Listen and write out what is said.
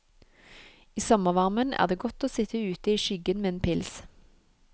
I sommervarmen er det godt å sitt ute i skyggen med en pils.